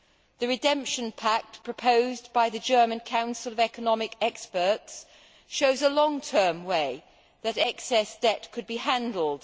The redemption pact' proposed by the German Council of Economic Experts shows a long term way that excess debt could be handled.